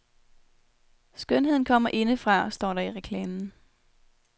Skønheden kommer indefra, står der i reklamen.